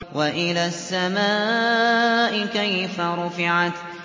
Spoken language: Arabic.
وَإِلَى السَّمَاءِ كَيْفَ رُفِعَتْ